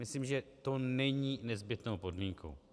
Myslím, že to není nezbytnou podmínkou.